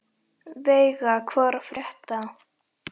Veiga, hvað er að frétta?